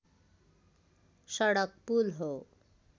सडक पुल हो